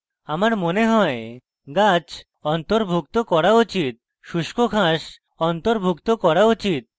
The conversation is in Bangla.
আমার মনে হয় grass অন্তর্ভুক্ত করা উচিত এবং শুষ্ক grass অন্তর্ভুক্ত করা উচিত